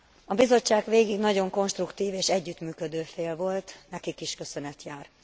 A Bizottság végig nagyon konstruktív és együttműködő fél volt, nekik is köszönet jár.